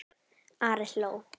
Ari hló.